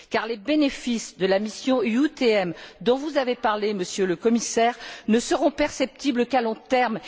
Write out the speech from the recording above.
En effet, les bénéfices de la mission UTM dont vous avez parlé, Monsieur le Commissaire, ne seront perceptibles qu'à long terme.